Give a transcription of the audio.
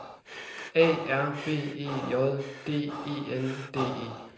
A R B E J D E N D E